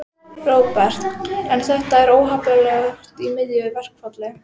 Róbert: En er þetta ekki óheppilegt í miðju verkfalli?